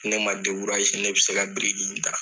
Ne man ne bɛ se ka biriki in da.